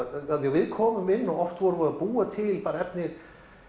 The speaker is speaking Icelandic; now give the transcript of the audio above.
við komum inn og oft vorum við að búa til efni